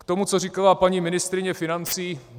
K tomu, co říkala paní ministryně financí.